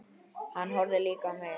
Hann horfði líka á mig.